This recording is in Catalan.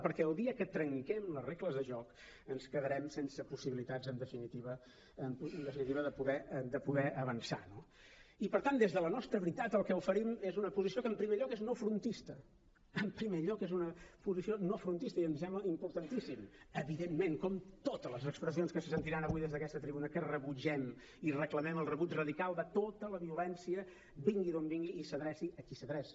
perquè el dia que trenquem les regles de joc ens quedarem sense possibilitats en definitiva de poder avançar no i per tant des de la nostra veritat el que oferim és una posició que en primer lloc és no frontista en primer lloc és una posició no frontista i em sembla importantíssim evidentment com totes les expressions que se sentiran avui des d’aquesta tribuna que rebutgem i reclamem el rebuig radical de tota la violència vingui d’on vingui i s’adreci a qui s’adreci